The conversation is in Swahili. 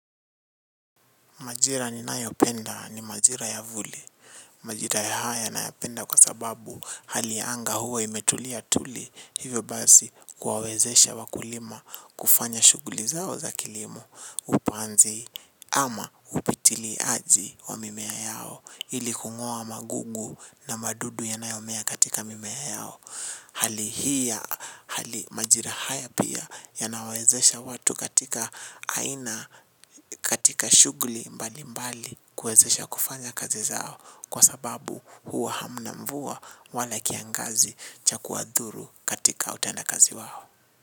Majira ni nayo penda ni majira ya vuli. Majira haya nayapenda kwa sababu hali ya anga huwa imetulia tuli hivyo basi huwawezesha wakulima kufanya shughuli za kilimo hupanzi ama upitili aji wa mimea yao ili kungua magugu na madudu yanayomea katika mimea yao. Hali hii majira haya pia yanayawezesha watu katika shughuli mbalimbali kuwezesha kufanya kazi zao kwa sababu hakuna mvua wala kiangazi cha kuwazuru katika utenda kazi wao.